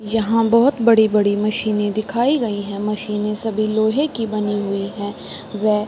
यहाँ बहोत बड़ी-बड़ी मशीने दिखाई गयी हैं। मशीने सभी लोहे की बनी हुई हैं। वे --